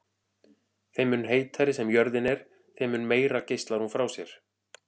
Þeim mun heitari sem jörðin er þeim mun meira geislar hún frá sér.